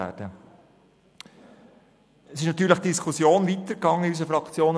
In unserer Fraktion ging die Diskussion natürlich weiter.